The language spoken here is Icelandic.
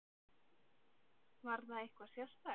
Var það eitthvað sérstakt?